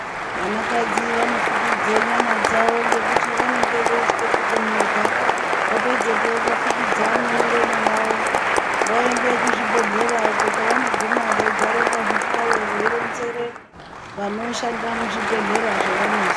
Vana kadzi vanofukidza nyama yavo nekuti vanenge veitya kutonhorwa vapedzepo vofukidza memuromo yavo voende kuzvibhedhlera uko kwavanoguma veigare pazvihlayo veironzera vanoshanda muzvibhedhlera zvavanozwa.